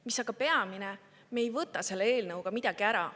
Mis aga peamine, me ei võta selle eelnõuga midagi ära.